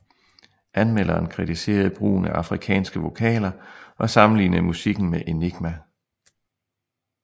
Anmelderen kritiserede brugen af afrikanske vokaler og sammenlignede musikken med Enigma